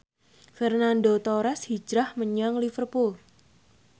Fernando Torres hijrah menyang Liverpool